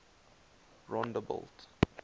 rondebult